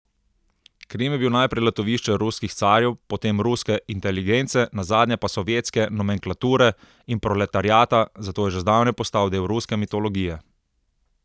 Krim je bil najprej letovišče ruskih carjev, potem ruske inteligence, nazadnje pa sovjetske nomenklature in proletariata, zato je že zdavnaj postal del ruske mitologije.